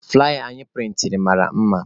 Flaya anyị prịntịrị mara mma.